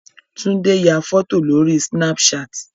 Tunde ya fọ́tò lórí Snapchat.